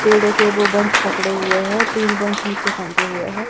पेड़ों के वो बंच पकड़े हुए हैं तीन बंच नीचे फेंके हुए हैं।